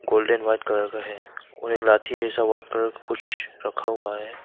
Golden white colour का है और एक लाठी जैसा व्हाइट कलर का कुछ रखा हुआ है।